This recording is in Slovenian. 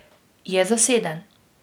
Je zaseden.